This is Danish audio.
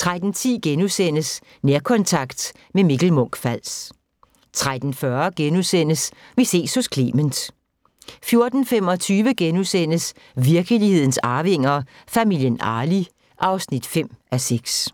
13:10: Nærkontakt – med Mikkel Munch-Fals * 13:40: Vi ses hos Clement * 14:25: Virkelighedens Arvinger: Familien Arli (5:6)*